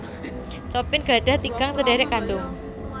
Chopin gadhah tigang sedhèrèk kandhung